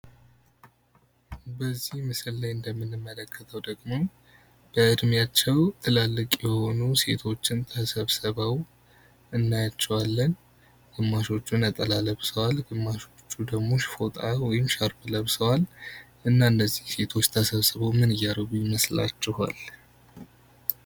በዚህ ምስል ላይ እንደምንመለከተው ደግሞ በዕድሜያቸው ትላልቅ የሆኑ ሴቶችን ተሰብስበው እናያቸዋለን ።ግማሾቹ ነጠላ ለብሰዋል፣ ግማሾቹ ደግሞ ፎጣ ወይም ሻርፕ ለብሰዋል እና እነዚህ ሴቶች ተሰብስበው ምን እያደረጉ ይመስላቸኋል?